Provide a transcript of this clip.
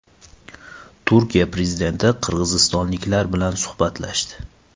Turkiya prezidenti qirg‘izistonliklar bilan suhbatlashdi .